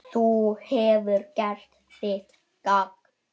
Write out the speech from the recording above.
Þú hefur gert þitt gagn.